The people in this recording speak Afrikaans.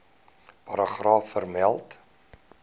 paragraaf vermeld